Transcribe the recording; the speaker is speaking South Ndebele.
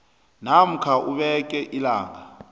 namkha ubeke ilanga